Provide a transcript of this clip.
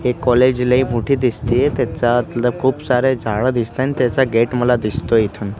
हे कॉलेज लई मोठी दिसतीयं त्याच्या आतलं खूप सारे झाडं दिसतायं आणि त्याचं गेट मला दिसतोयं इथुन.